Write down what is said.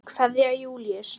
Kveðja, Júlíus.